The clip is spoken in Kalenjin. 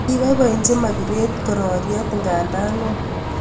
kipoipochin Margeret kororyet ny ngandonoo